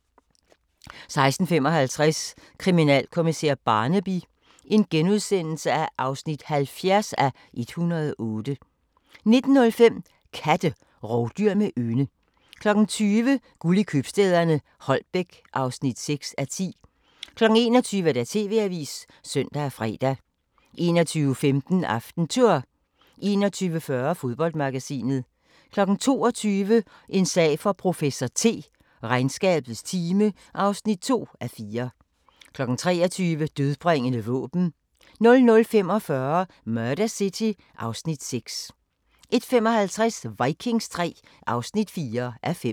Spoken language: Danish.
16:55: Kriminalkommissær Barnaby (70:108)* 19:05: Katte – rovdyr med ynde 20:00: Guld i købstæderne - Holbæk (6:10) 21:00: TV-avisen (søn og fre) 21:15: AftenTour 21:40: Fodboldmagasinet 22:00: En sag for professor T: Regnskabets time (2:4) 23:00: Dødbringende våben 00:45: Murder City (Afs. 6) 01:55: Vikings III (4:5)